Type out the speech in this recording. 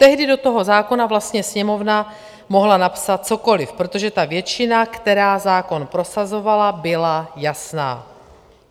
Tehdy do toho zákona vlastně Sněmovna mohla napsat cokoli, protože ta většina, která zákon prosazovala, byla jasná.